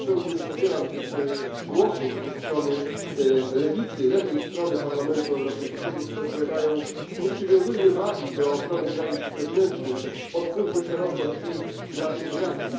Ja zupełnie nie podzielam tych głosów ze strony lewicy, lewej strony Parlamentu Europejskiego, które powiadają nie przywiązujmy wagi do ochrony granic zewnętrznych, otwórzmy szeroko drzwi dla imigracji.